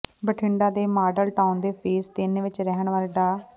ਬਠਿੰਡਾ ਦੇ model town ਦੇ phase ਤਿੰਨ ਵਿੱਚ ਰਹਿਣ ਵਾਲੇ ਡਾ